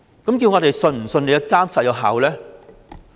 我們怎能相信其監察有效呢？